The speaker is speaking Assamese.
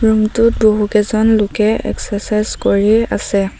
ৰুম টোত বহুকেইজন লোকে এক্সেচাইছ কৰি আছে।